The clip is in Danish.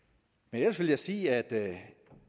ellers vil jeg sige at